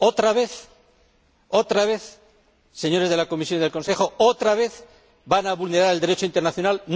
¿Otra vez, señores de la Comisión y del Consejo, otra vez van a vulnerar el Derecho internacional?